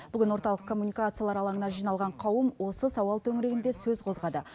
бүгін орталық коммуникациялар алаңына жиналған қауым осы сауал төңірегінде сөз қозғады